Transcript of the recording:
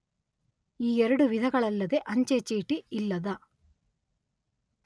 ಈ ಎರಡು ವಿಧಗಳಲ್ಲದೆ ಅಂಚೆ ಚೀಟಿ ಇಲ್ಲದ